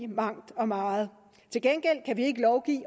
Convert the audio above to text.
mangt og meget til gengæld kan vi ikke lovgive